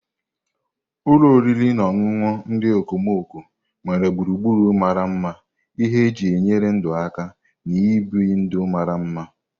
Ụlọ oriri na ọṅụṅụ ndị okomoko nwere gburugburu mara mma, ihe eji enyere ndụ aka, na ibi ndụ mara mma.